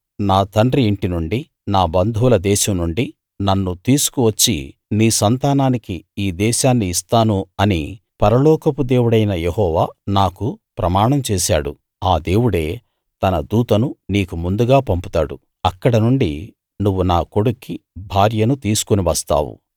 నా తండ్రి ఇంటి నుండీ నా బంధువుల దేశం నుండీ నన్ను తీసుకు వచ్చి నీ సంతానానికి ఈ దేశాన్ని ఇస్తాను అని పరలోకపు దేవుడైన యెహోవా నాకు ప్రమాణం చేశాడు ఆ దేవుడే తన దూతను నీకు ముందుగా పంపుతాడు అక్కడనుండి నువ్వు నా కొడుక్కి భార్యను తీసుకుని వస్తావు